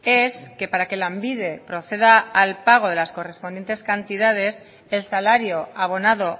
es que para que lanbide proceda al pago de las correspondientes cantidades el salario abonado